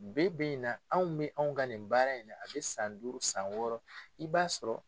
Bi bi in na anw bɛ anw ka nin baara in a bɛ san duuru san wɔɔrɔ i b'a sɔrɔ.